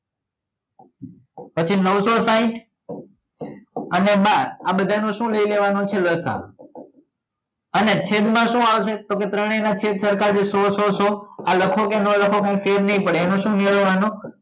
પછી નવસો સાહીંઠ અને બાર આ બધા નુ શું લઇ લેવા નું છે લસા અને છેદ માં શું આવશે તો કે ત્રણેય ના છેદ સરખા જ છે સો સો સો આ લખો કે નાં લખો કઈ ફેર નઈ પડે એનો શું મેળવવા નો